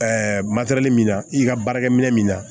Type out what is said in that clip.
matɛrɛli min na i ka baarakɛminɛn min na